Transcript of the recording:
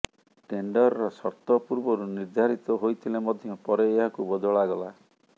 ଟେଣ୍ଡରର ସର୍ତ୍ତ ପୂର୍ବରୁ ନିର୍ଦ୍ଧାରିତ ହୋଇଥିଲେ ମଧ୍ୟ ପରେ ଏହାକୁ ବଦଳାଗଲା